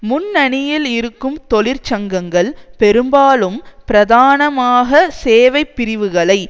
முன்னணியில் இருக்கும் தொழிற்சங்கங்கள் பெரும்பாலும் பிரதானமாக சேவைப்பிரிவுகளை